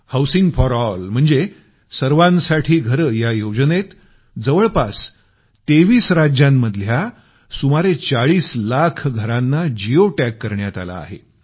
housing for all म्हणजे सर्वांसाठी घरं या योजनेत जवळपास 23 राज्यांमध्ये सुमारे 40 लाख घरांना जिओ टॅग करण्यात आलं आहे